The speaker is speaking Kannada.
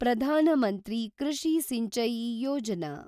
ಪ್ರಧಾನ ಮಂತ್ರಿ ಕೃಷಿ ಸಿಂಚಾಯಿ ಯೋಜನಾ